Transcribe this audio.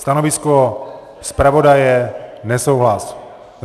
Stanovisko zpravodaje: nesouhlas.